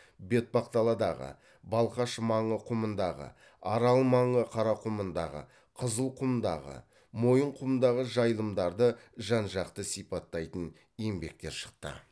бетпақдаладағы балқаш маңы құмындағы арал маңы қарақұмындағы қызылқұмдағы мойынқұмдағы жайылымдарды жан жақты сипаттайтын еңбектер шықты